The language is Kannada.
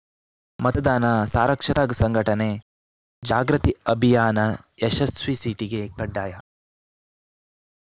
ಮತದಾನ ಸಾರಕ್ಷತಾ ಸಂಘಟನೆ ಜಾಗೃತಿ ಅಭಿಯಾನ ಯಶಸ್ವಿ ಸೀಟಿಗೆ ಕಡ್ಡಾಯ